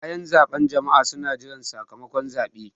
Bayan zaɓe jama'a suna jiran sakamakon zaɓe.